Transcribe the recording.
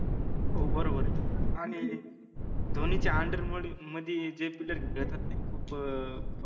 हो बरोबरय आनि धोनीच्या under मध्ये मदि जे देतात ते खूप अं